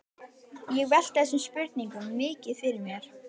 Ég velti þessum spurningum mikið fyrir mér.